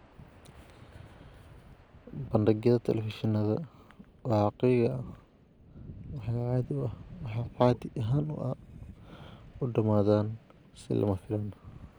Bandhigyada telefishinada waaqiciga ahi waxay caadi ahaan u dhamaadaan si lama filaan ah.